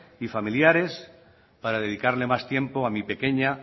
y familiares para dedicarle más tiempo a mi pequeña